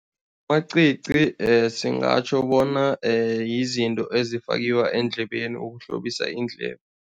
Amacici singatjho bona yizinto ezifakiwa eendlebeni ukuhlobisa iindlebe.